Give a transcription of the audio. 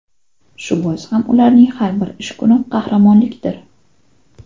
Shu bois ham ularning har bir ish kuni qahramonlikdir.